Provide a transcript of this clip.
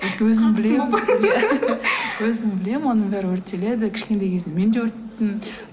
өзім білемін өзім білемін оның бәрі өртеледі кішкентай кезімде мен де өртейтінмін